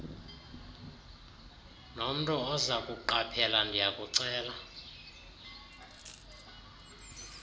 nomntu ozakuqaphela ndiyakucela